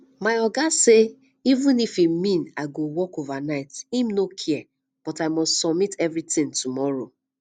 my oga say even if e mean i go work overnight im no care but i must submit everything tomorrow